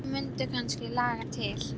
Hvort þau mundu kannski laga til.